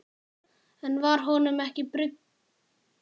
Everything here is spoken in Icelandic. En var honum ekki brugðið?